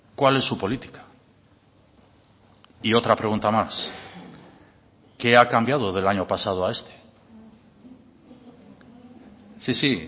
cuál es su política y otra pregunta más qué ha cambiado del año pasado a este sí sí